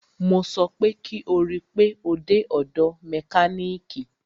Mo sọ pé kí o rí pe o dé ọ̀dọ̀ mẹkánìkì!